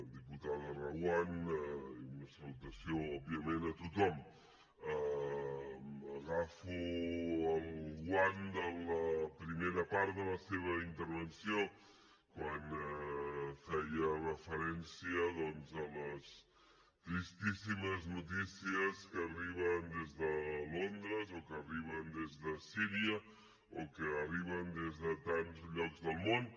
diputada reguant i una salutació òbviament a tothom agafo el guant de la primera part de la seva intervenció quan feia referència doncs a les tristíssimes notícies que arriben des de londres o que arriben des de síria o que arriben des de tants llocs del món